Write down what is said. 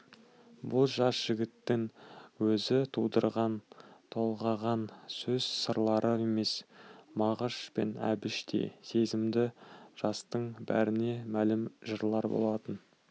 бұл жас жігіттің өзі тудырған толғаған сөз сырлары емес мағыш пен әбіштей сезімді жастың бәріне мәлім жырлар болатын